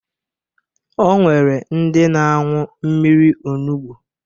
O nwere ndị na-aṅụ mmiri onubu